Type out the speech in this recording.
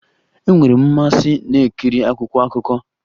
Enwere m mmasị na-ekiri akwụkwọ akụkọ